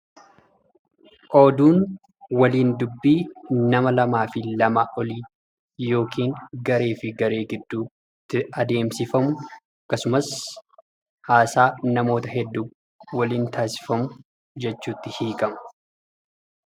Oduun waliin dubbii nama lamaa fi lamaa olii yookin garee fi garee gidduutti adeemsifamu akkasumas haasaa namoota hedduu waliin taasifamu jechuutti hiikama.